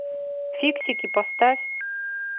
фиксики поставь